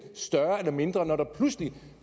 større eller mindre når der pludselig